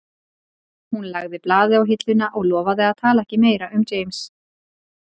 Hún lagði blaðið á hilluna og lofaði að tala ekki meira um James